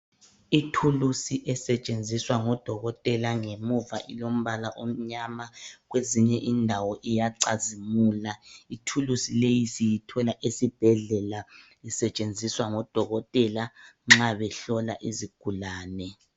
Ithulusi esetshenziswa ngodokotela ngemuva ilombala omnyama, kwezinye indawo iyacazimula. Ithulusi leyi siyithola esibhedlela isetshenziswa ngodokotela nxa behlola izigulane.